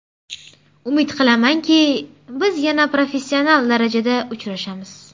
Umid qilamanki, biz yana professional darajada uchrashamiz.